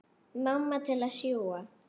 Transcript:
Mamma til að sjúga.